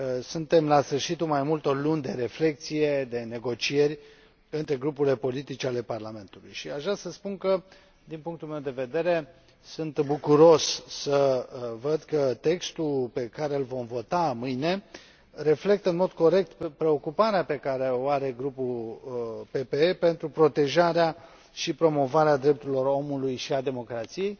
Suntem la sfârșitul mai multor luni de reflecție, de negocieri între grupurile politice ale Parlamentului și aș vrea să spun că, din punctul meu de vedere, sunt bucuros să văd că textul pe care îl vom vota mâine reflectă în mod corect preocuparea pe care o are Grupul PPE față de protejarea și promovarea drepturilor omului și a democrației.